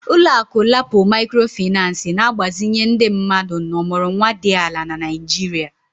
Ụlọ akụ LAPO Maịkrofịnancị na-agbazinye ndị mmadụ na ọmụrụnwa dị ala na Nigeria